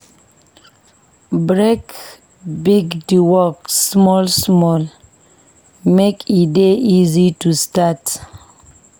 Break big di work small-small make e dey easy too start.